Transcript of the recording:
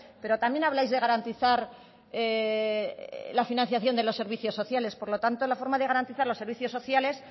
pero también habláis de garantizar la financiación de los servicios sociales por lo tanto la forma de garantizar los servicios sociales